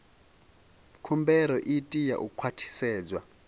khumbelo i tea u khwaṱhisedzwa